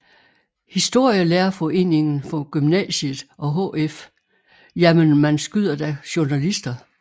Historielærerforeningen for Gymnasiet og HF Jamen man skyder da journalister